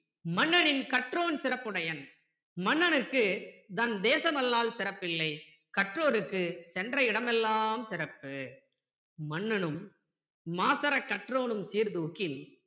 மன்னனின் கற்றோன் சிறப்புடையன் மன்னனுக்கு தன்தேசம் அல்லால் சிறப்பில்லை கற்றோர்க்கு சென்றஇடம் எல்லாம் சிறப்பு மன்னனும் மாசறக் கற்றோனும் சீர்தூக்கின்